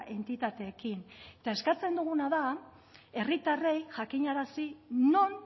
entitateekin eta eskatzen duguna da herritarrei jakinarazi non